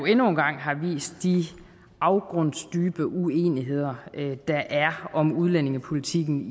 endnu en gang har vist de afgrundsdybe uenigheder der er om udlændingepolitikken